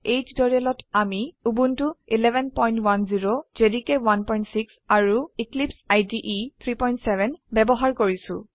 এই টিউটোৰিয়েলত আমি উবুন্টু 1110 জেডিকে 16 আৰু এক্লিপছে ইদে 37 ব্যবহাৰ কৰিছো